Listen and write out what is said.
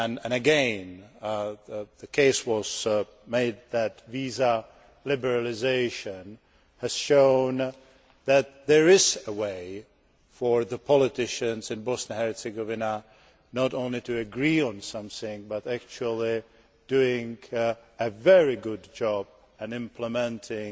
Again, the case was made that visa liberalisation has shown that there is a way for the politicians in Bosnia and Herzegovina not only to agree on something, but actually to do a very good job in implementing